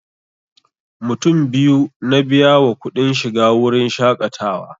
Mutum biyu na biya wa kuɗin shiga wurin shaƙatawa